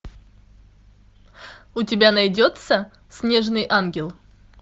у тебя найдется снежный ангел